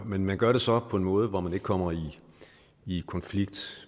men man gør det så på en måde hvor man ikke kommer i konflikt